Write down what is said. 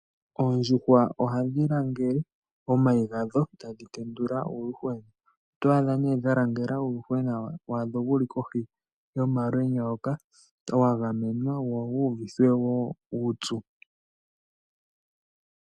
Oondjuhwa ohadhi langele omayi gadho, etadhi tendula uuyuhwena. Oto adha nee dha langela uuyuhwena wadho wuli kohi yomalwenya hoka, wa gamenwa, wo wu uvithwe woo uupyu.